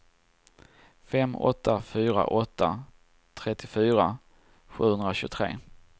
fem åtta fyra åtta trettiofyra sjuhundratjugotre